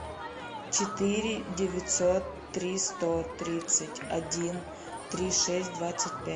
четыре девятьсот три сто тридцать один три шесть двадцать пять